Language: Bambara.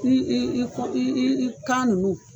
I i i i kɔ i i i kan nunnu.